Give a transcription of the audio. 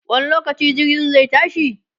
wani lokaci jirgin zai tashi?